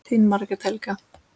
Þín Margrét Helga.